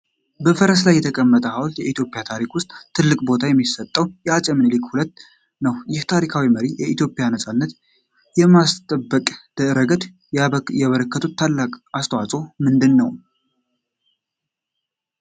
በፈረስ ላይ የተቀመጠው ሐውልት በኢትዮጵያ ታሪክ ውስጥ ትልቅ ቦታ የሚሰጠው የዐፄ ምኒልክ II ነው። ይህ ታሪካዊ መሪ የኢትዮጵያን ነፃነት በማስጠበቅ ረገድ ያበረከቱት ታላቅ አስተዋፅዖ ምንድን ነው?